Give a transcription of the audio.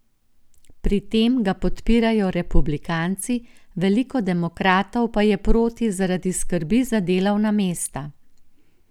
Pri tem ga podpirajo republikanci, veliko demokratov pa je proti zaradi skrbi za delovna mesta.